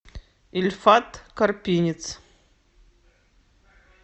ильфат карпинец